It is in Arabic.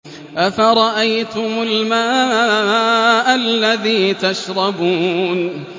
أَفَرَأَيْتُمُ الْمَاءَ الَّذِي تَشْرَبُونَ